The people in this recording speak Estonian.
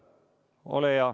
Ole hea!